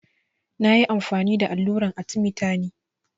Na ƴi amfani da alluran arthemeter ne.